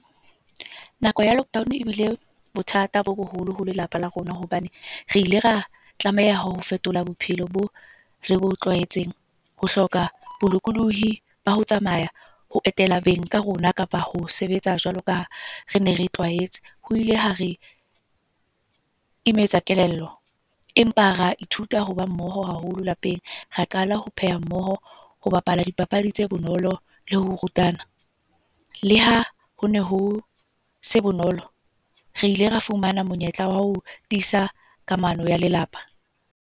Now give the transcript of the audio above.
Nako ya lockdown e bile bothata bo boholo ho lelapa la rona. Hobane, re ile ra tlameha ho fetola bophelo bo re bo tlwaetseng. Ho hloka bolokolohi ba ho tsamaya, ho etela beng ba rona. Kapa ho sebetsa jwalo kaha re ne re tlwaetse. Ho ile ha re, imetsa kelello. Empa ra ithuta ho ba mmoho haholo lapeng. Ra qala ho pheha mmoho, ho bapala dipapadi tse bonolo, le ho rutana. Leha ho ne ho se bonolo, re ile ra fumana monyetla wa ho tiisa kamano ya lelapa.